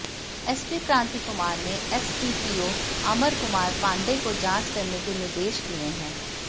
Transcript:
SP Kranti Kumar ने SDPO Amar Kumar Pandey को जांच करने के निर्देश दिए हैं